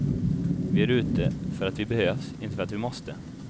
Vi är ute för att vi behövs, inte för att vi måste.